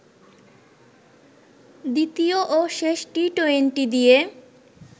দ্বিতীয় ও শেষ টি-টোয়েন্টি দিয়ে